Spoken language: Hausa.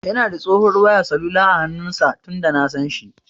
Yana da tsohuwar wayar salula a hannun sa tunda nasan shi.